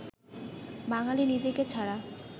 বাঙালি নিজেকে ছাড়া